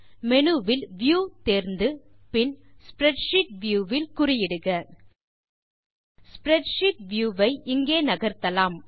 menu வில் view தேர்ந்து பின் ஸ்ப்ரெட்ஷீட் வியூ வில் குறியிடுக ஸ்ப்ரெட்ஷீட் வியூ ஐ இங்கே நகர்த்தலாம்